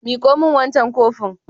Miƙo min wancan kofin.